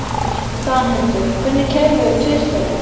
Danhildur, hvenær kemur tvisturinn?